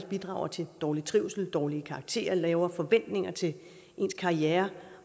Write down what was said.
bidrager til dårlig trivsel dårlige karakterer lavere forventninger til ens karriere